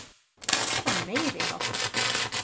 Það var meiriháttar.